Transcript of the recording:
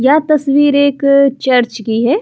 यह तस्वीर एक चर्च की है।